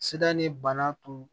Sida ni bana tun